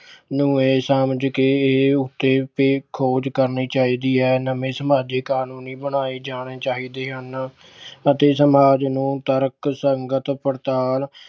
ਨੂੰ ਇਹ ਸਮਝ ਕੇ ਇਹ ਖੋਜ ਕਰਨੀ ਚਾਹੀਦੀ ਹੈ। ਨਵੇਂ ਸਮਾਜਿਕ ਕਾਨੂੰਨ ਬਣਾਏ ਜਾਣੇ ਚਾਹੀਦੇ ਹਨ ਅਤੇ ਸਮਾਜ ਨੂੰ ਤਰਕਸੰਗਤ ਪ੍ਰਧਾਨ